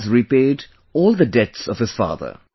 He now has repaid all the debts of his father